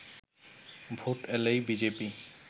vote এলেই BJP